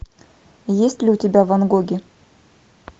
есть ли у тебя ван гоги